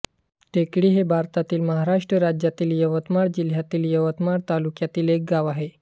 टेकडी हे भारतातील महाराष्ट्र राज्यातील यवतमाळ जिल्ह्यातील यवतमाळ तालुक्यातील एक गाव आहे